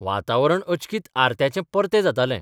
वातावरण अचकीत आरत्याचें परतें जातालें.